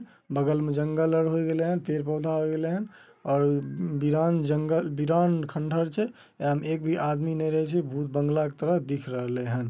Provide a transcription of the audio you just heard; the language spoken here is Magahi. बगल में जंगल आर होय गैलेन हेन पेड़-पौधा होय गेलेन हेन और वीरान जंगल वीरान खंडर छै। एकरा में एक भी आदमी ने रहे छै । भूत बंगला के तरह दिख रहलेन हेन ।